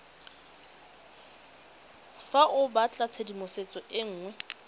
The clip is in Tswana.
fa o batlatshedimosetso e nngwe